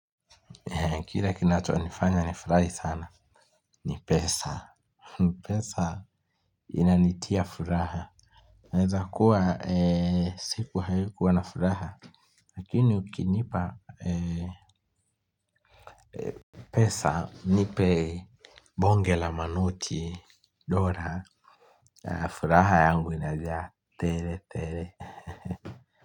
Kile kinacho nifanya nifurahi sana. Ni pesa. Pesa inanitia furaha. Inaweza kuwa siku haikuwa na furaha. Lakini ukinipa pesa nipe, bonge la manoti, dola. Furaha yangu inajaa. Tele, tele.